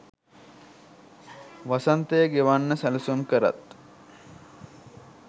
වසන්තය ගෙවන්න සැලසුම් කරත්